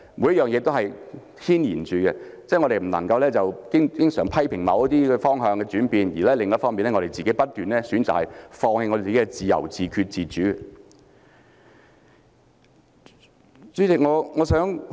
每件事均互相牽連，我們不應經常一方面批評某些方向轉變，而另一方面卻不斷選擇放棄自由、自決、自主。